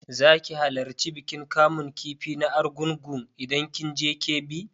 Za ki halarci bikin kamun kifi na argungu idan kin je Kebbi?